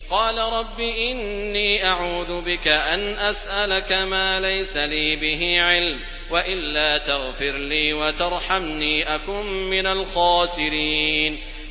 قَالَ رَبِّ إِنِّي أَعُوذُ بِكَ أَنْ أَسْأَلَكَ مَا لَيْسَ لِي بِهِ عِلْمٌ ۖ وَإِلَّا تَغْفِرْ لِي وَتَرْحَمْنِي أَكُن مِّنَ الْخَاسِرِينَ